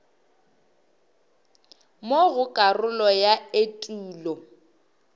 mo go karolo ya etulo